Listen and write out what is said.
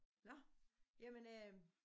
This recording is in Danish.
Nåh jamen øh